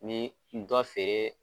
Ni dɛ feere.